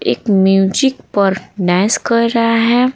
एक म्यूजिक पर नस कर रहा है।